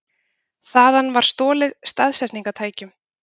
Þaðan var stolið staðsetningartækjum